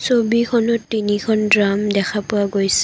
ছবিখনত তিনিখন ড্ৰাম দেখা পোৱা গৈছে।